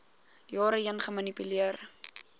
jare heen gemanipuleer